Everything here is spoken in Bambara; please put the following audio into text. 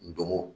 Ndomo